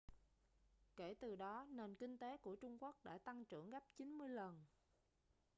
kể từ đó nền kinh tế của trung quốc đã tăng trưởng gấp 90 lần